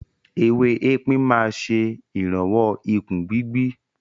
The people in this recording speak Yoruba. Ewé epin máa ń ṣe ìrànwọ́ ìkún gbigbi.